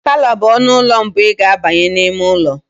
Palọ bụ ọnụ ụlọ mbụ ị ga abanye n'ime ụlọ.